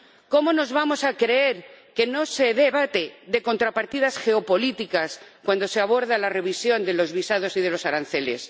¿Cómo nos vamos a creer que no se debate de contrapartidas geopolíticas cuando se aborda la revisión de los visados y de los aranceles?